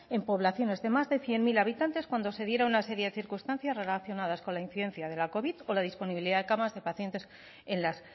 en poblaciones de más de cien mil habitantes cuando se dieran una serie de circunstancias relacionadas con la incidencia de la covid o la disponibilidad de camas de pacientes en las